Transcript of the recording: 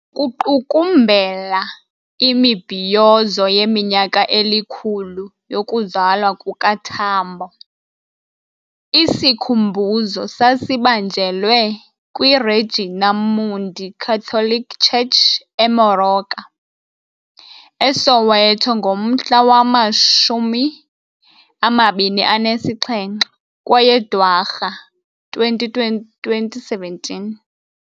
Kuqukumbela imibhiyozo yeminyaka elikhulu yokuzalwa kukaTambo, isikhumbuzo sasibanjelwe kwiRegina Mundi Catholic Church eMoroka, eSoweto ngomhla wama-27 kweye Dwarha 2017.